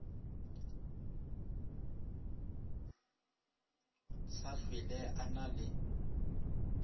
sa hlwele a na le